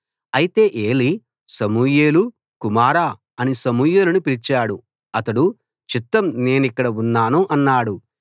అయితే Eli Samuel కుమారా అని సమూయేలును పిలిచాడు అతడు చిత్తం నేనిక్కడ ఉన్నాను అన్నాడు